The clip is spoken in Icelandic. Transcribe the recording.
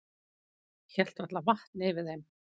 Hélt varla vatni yfir þeim.